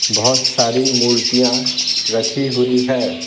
बहुत सारी मूर्तियां रखी हुई है।